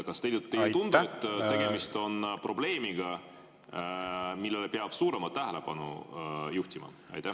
Kas teile ei tundu, et tegemist on probleemiga, millele peab suuremat tähelepanu juhtima?